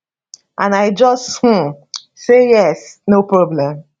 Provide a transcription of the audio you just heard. and i just um say yes no problem